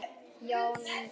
Jón Ingi.